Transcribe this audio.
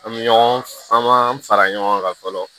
An bɛ ɲɔgɔn faa an m'an fara ɲɔgɔn kan fɔlɔ